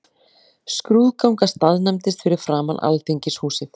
Skrúðgangan staðnæmdist fyrir framan Alþingishúsið.